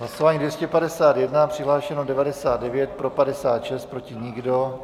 Hlasování 251, přihlášeno 99, pro 56, proti nikdo.